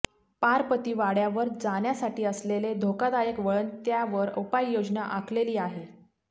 पारपती वाडय़ावर जाण्यासाठी असलेले धोकादायक वळण त्यावर उपाययोजन आखलेली आहे